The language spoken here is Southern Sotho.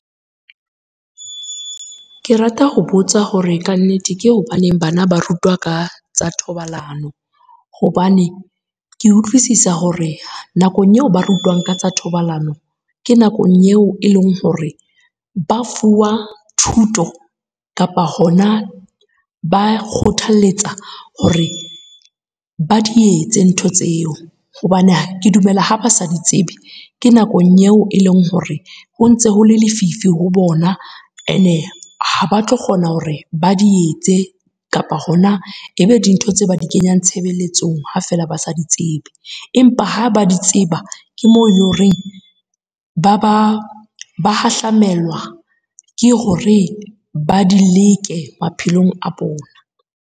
Ke rata ho botsa hore kannete ke hobaneng bana ba rutwa ka tsa thobalano. Hobane ke utlwisisa hore nakong eo ba rutwang ka tsa thobalano, ke nakong eo e leng hore ba fuwa thuto kapa hona ba kgothalletsa hore ba di etse ntho tseo. Hobane ke dumela ha ba sa di tsebe, ke nakong eo e leng hore ho ntse hole lefifi ho bona, ene ha ba tlo kgona hore ba di etse kapa hona ebe dintho tse ba di kenyang tshebeletsong ha fela ba sa di tsebe. Empa ha ba di tseba, ke moo ele horeng ba hahlamelwa ke hore ba di leke maphelong a bona.